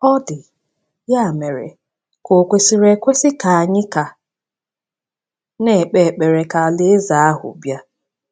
Ọ̀ dị, ya mere, ka o kwesịrị ekwesị ka anyị ka na-ekpe ekpere ka Alaeze ahụ “bịa”?